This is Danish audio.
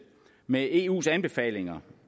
med eus anbefalinger